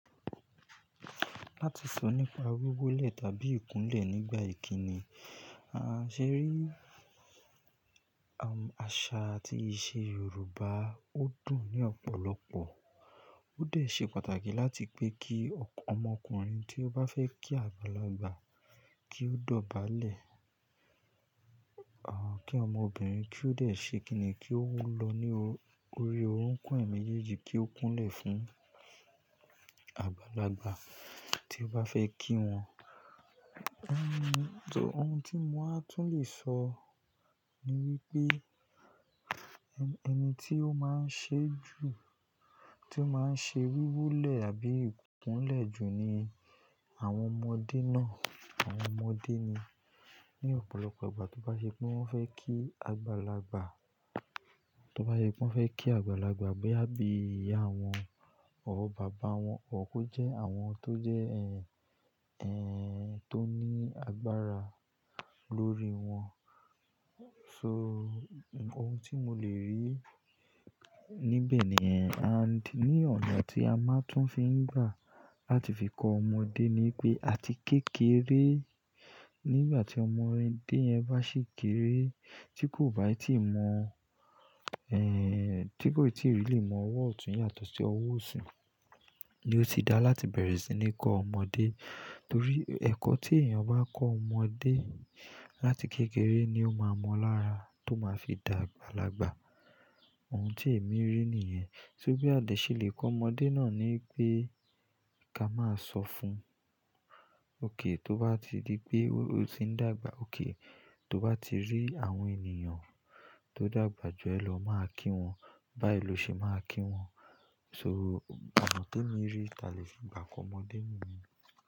Láti sọ nípa wiwólẹ̀ tàbí ìkúnlẹ̀ nígbà ìkíni, a ṣè rí àṣà àti ìṣe Yorùbá ó dùn ní ọ̀pọ̀lọpọ̀. Ó dẹ̀ ṣe pàtàkì láti pé kí ọmọkùnrin tí ó bá fẹ́ kí àgbàlagbà kí ó dọ̀bálẹ̀, kí ọmọbìnrin kí ó dẹ̀ ṣe kìní kí ó lọ ní orí òrokun ẹ̀ meéjeji kí ó kúnlẹ̀ fún àgbàlagbà tí ó bá fẹ́ kí wọn. Ohun tí mo máa tún le sọ ni wípé ẹni tí ó máa ń ṣe jù, tí ó máa ń ṣe wíwolẹ̀ àbí ìkúnlẹ̀ jù ni àwọn ọmọdé náà, àwọn ọmọdé ni ní ọ̀pọ̀lọpọ̀ ìgbà tó bá ṣe pé wọ́n fẹ́ kí àgbàlagbà, tó bá ṣe pé wọ́n fẹ́ kí àgbàlagbà bóyá bí ìyá wọn or bàbá wọn, or kó jẹ́ àwọn tó jẹ́ ẹ́n, tó ní agbára lórí wọn. So ohun tí mo le rí níbẹ̀ nìyẹn and ní ọ̀nà tí a máa tún fi ń gbà láti fi kọ ọmọdé ni pé àti kékeré, nígbà tí ọmọdé yẹn bá sì kéré tí kò bá ì tí mọ̀, eh tí kò ì tí really mọ ọwọ́ ọ̀tún yàtọ̀ sí ọwọ́ òsì ni ó ti dára láti bẹ̀rẹ̀ sí ní kọ ọmọdé. Torí ẹ̀kọ́ tí èèyàn bá kọ ọmọdé láti kékeré ni ó máa mọ lára tó máa fi dàgbàlagbà. Ohun tí èmi rí nìyẹn. Só bí à dẹ́ ṣe lè kọ ọmọdé náà ni pé ká máa sọ fún, "òkè tó bá ti di pé o ti ń dàgbà, òkè tó bá ti rí àwọn ènìyàn tó dàgbà jù ẹ lọ máa kí wọn, bá ì lo ṣe máa kí wọn." So ọ̀nà tí èmi rí ti a lè fi gbà kọ ọmọdé niyen.